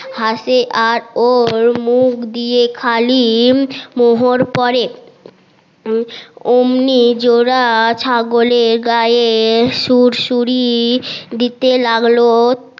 হাসে আর অর মুখ দিয়ে খালি মোহর পরে